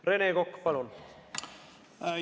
Rene Kokk, palun!